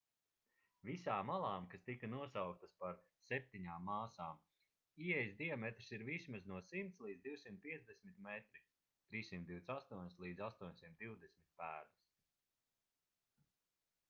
visām alām kas tika nosauktas par septiņām māsām ieejas diametrs ir vismaz no 100 līdz 250 metri 328 līdz 820 pēdas